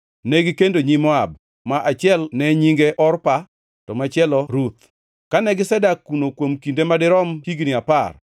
Negikendo nyi Moab, ma achiel ne nyinge Orpa, to machielo Ruth. Kane gisedak kuno kuom kinde madirom higni apar,